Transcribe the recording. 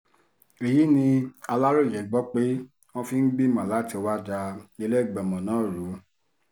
èyí ni aláròye gbọ́ pé wọ́n fi ń gbìmọ̀ láti wáá da ìlẹ́gbẹ́mọ náà rú